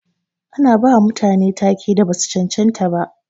Ana bawa mutane ta-ke da basu cancanta ba.